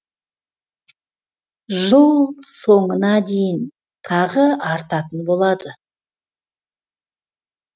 жыл соңына дейін тағы артатын болады